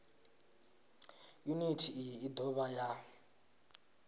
yuniti iyi i dovha ya